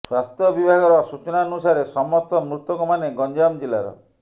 ସ୍ୱାସ୍ଥ୍ୟ ବିଭାଗର ସୂଚନାନୁସାରେ ସମସ୍ତ ମୃତକ ମାନେ ଗଞ୍ଜାମ ଜିଲ୍ଲାର